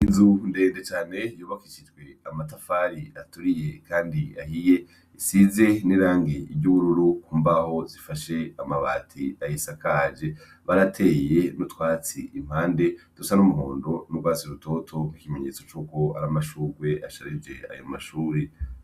Inzu ndende cane yubakishijwe amatafari aturiye kandi ahiye isize nirangi ryubururu imbaho zifashe amabati ayisakaje barateye nutwatsi impande dusa numuhondo nurwatsi rutoto nkikimenyetso cuko aramashurwe asharije ayo mashure